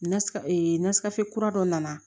Nasira ee na sira fɛ kura dɔ nana